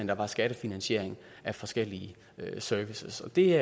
der var skattefinansiering af forskellige servicer det